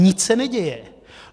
Nic se neděje.